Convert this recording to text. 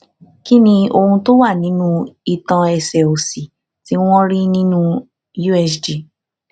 kí ni ohun to wa ninú itan ẹsẹ òsì tí wọn rí nínú usg